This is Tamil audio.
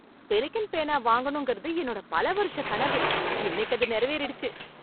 பெலிகன் பேனா வாங்கணுங்கறது என்னோட பல வருஷக் கனவு. இன்னைக்கு அது நிறைவேறிடுச்சு.